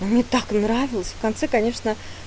мне так нравилось в конце конечно